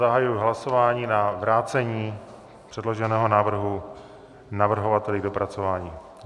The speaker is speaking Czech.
Zahajuji hlasování na vrácení předloženého návrhu navrhovateli k dopracování.